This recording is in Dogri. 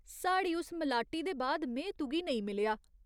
साढ़ी उस मलाटी दे बाद में तुगी नेईं मिलेआ ।